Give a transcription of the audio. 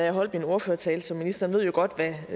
jeg holdt min ordførertale så ministeren ved jo godt hvad